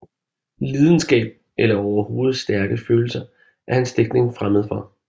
Lidenskab eller overhovedet stærke følelser er hans digtning fremmed for